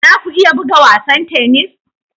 Za ku iya buga wasan tennis?